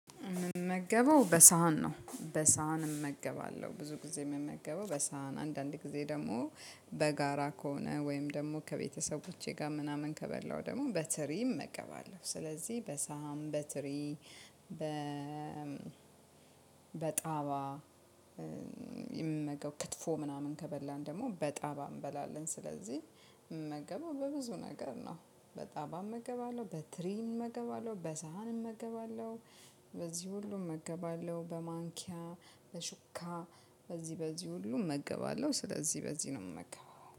እምመገበው በሳህን ነው በሳህን እመገባለሁ ብዙ ጊዜ እምመገበው በሳህን አንዳንድ ጊዜ ደግሞ በጋራ ከሆነ ወይም ደግሞ ከቤተሰቦቼ ጋር ምናምን ከበላው ደግሞ በትሪም እመገባለሁ ስለዚህ በሳን በትሪ በጣባ የምንመገበው ክትፎ ምናምን ከበላን ደግሞ በጣባ እንበላለን ስለዚህ እምመገበው በብዙ ነገር ነው በጣባም እገባለሁ በትሪም እገባለሁ በሳህንም እገባለሁ። በዚህ ሁሉም እመገባለሁ በማንኪያ በሹካ በዚህ በዚህ ሁሉ እመገባለሁ ስለዚህ በዚህ ነው እምመገበው